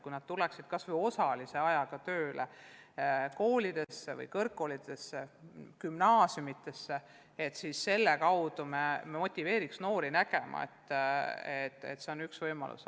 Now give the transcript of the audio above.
Kui nad tuleksid kas või osalise ajaga koolidesse või kõrgkoolidesse tööle, siis see aitaks motiveerida noori nägema, et see on üks võimalus.